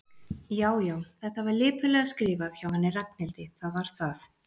Já, já, þetta var lipurlega skrifað hjá henni Ragnhildi, það var það.